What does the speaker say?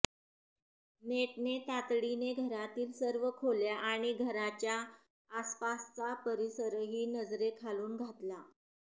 नेटने तातडीने घरातील सर्व खोल्या आणि घराच्या आसपासचा परिसरही नजरेखालून घातला